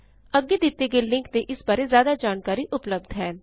ਅੱਗੇ ਦਿੱਤੇ ਗਏ ਲਿੰਕ ਤੇ ਇਸਦੀ ਬਾਰੇ ਜ਼ਿਆਦਾ ਜਾਣਕਾਰੀ ਉਪਲਬਧ ਹੈ